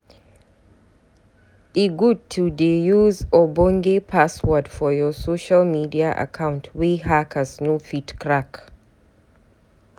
E good to dey use ogbonge password for your social media account wey hackers no fit crack.